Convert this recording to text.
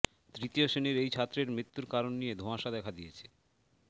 তৃতীয় শ্রেণীর এই ছাত্রের মৃত্যুর কারন নিয়ে ধোঁয়াশা দেখা দিয়েছে